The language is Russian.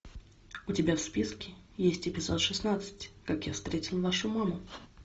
у тебя в списке есть эпизод шестнадцать как я встретил вашу маму